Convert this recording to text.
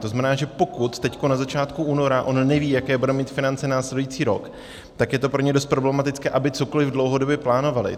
To znamená, že pokud teď na začátku února on neví, jaké bude mít finance následující rok, tak je to pro ně dost problematické, aby cokoliv dlouhodobě plánovali.